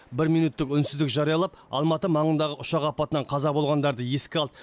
бір минуттық үнсіздік жариялап алматы маңындағы ұшақ апатынан қаза болғандарды еске алды